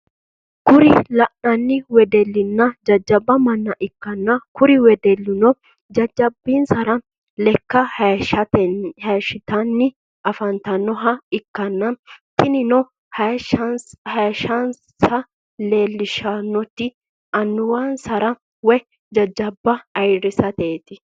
Kuri lanani wedeluna jajab manna ikana kuri wedeluno jajabinsara lekka hashshitani afanitanoha ikana tinino hayishshnisa lelishshanoti anowanisara woy jajjaba ayirisateti